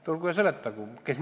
Tulgu ja seletagu!